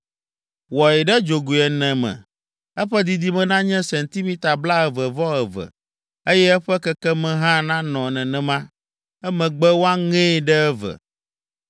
Wɔe ɖe dzogoe ene me, eƒe didime nanye sentimita blaeve-vɔ-eve, eye eƒe kekeme hã nanɔ nenema. Emegbe woaŋee ɖe eve.